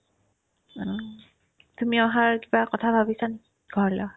অ, তুমি অহাৰ কথা কিবা ভাবিছা নেকি ঘৰলে অহা